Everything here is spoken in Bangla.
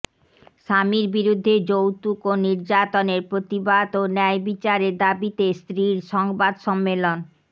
স্বামীর বিরুদ্ধে যৌতুক ও নির্যাতনের প্রতিবাদ ও ন্যয় বিচারের দাবিতে স্ত্রীর সংবাদ সম্মেলন